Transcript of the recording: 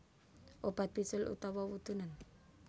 Obat bisul utawa wudunen